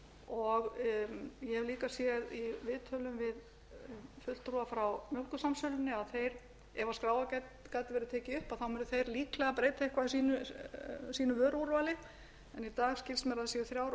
ég hef líka séð í viðtölum við fulltrúa frá mjólkursamsölunni að ef skráargatið verður tekið upp munu þeir líklega breyta einhverju af sínu vöruúrvali en í dag skilst mér að það séu þrjár vörur frá